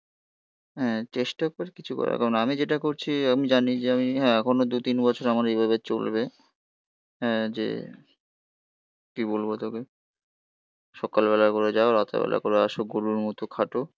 হ্যাঁ চেষ্টা করি কিছু করার কারণ. আমি যেটা করছি আমি জানি যে আমি হ্যাঁ এখনো দু তিন বছর আমার এইভাবে চলবে. হ্যাঁ যে কি বলবো তোকে. সকালবেলা করে যাও. রাতের বেলা করে আসো. গরুর মতো খাটো.